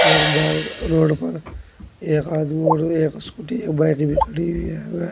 road पर एक आदमी और एक स्कूटी एक बाइक भी खड़ी हुई है व--